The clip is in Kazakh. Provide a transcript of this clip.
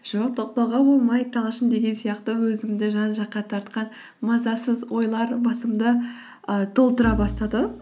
жоқ тоқтауға болмайды талшын деген сияқты өзімді жан жаққа тартқан мазасыз ойлар басымды ы толтыра бастады